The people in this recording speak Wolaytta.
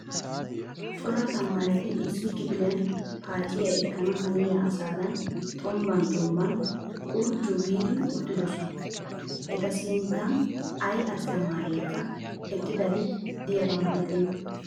Coraa tamaareti issi kipiliyan paaciyaa ekkana haniya asadan xombban xombban qorjju giidi uttidosona. Eta sinttan ayi asttamaarekka eqqidabi diyaaba malatenna.